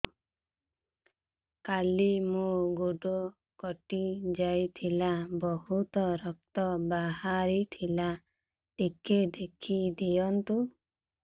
କାଲି ମୋ ଗୋଡ଼ କଟି ଯାଇଥିଲା ବହୁତ ରକ୍ତ ବାହାରି ଥିଲା ଟିକେ ଦେଖି ଦିଅନ୍ତୁ